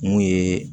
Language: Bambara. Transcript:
Mun ye